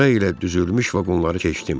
Sıra ilə düzülmüş vaqonları keçdim.